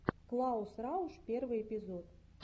клаус рауш первый эпизод